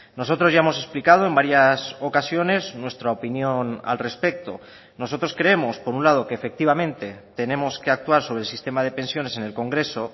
nosotros ya hemos explicado en varias ocasiones nuestra opinión al respecto nosotros creemos por un lado que efectivamente tenemos que actuar sobre el sistema de pensiones en el congreso